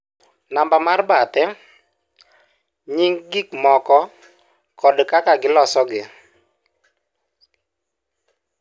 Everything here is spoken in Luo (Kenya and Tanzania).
Namba mar bathe, nying' gik moko kod kaka gilosgi.